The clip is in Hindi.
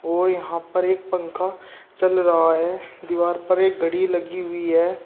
और यहां पर एक पंखा चल रहा है दीवार पर एक घड़ी लगी हुई है।